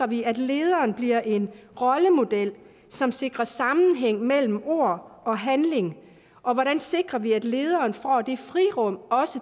vi at lederen bliver en rollemodel som sikrer sammenhæng mellem ord og handling og hvordan sikrer vi at lederen får det frirum